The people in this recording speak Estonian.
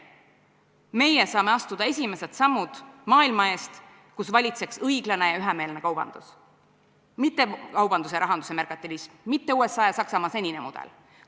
Meie saame astuda esimesed sammud maailma eest, kus valitseks õiglane ja ühemeelne kaubandus, mitte kaubanduse ja rahanduse merkantilism, mitte USA ja Saksamaa senine mudel.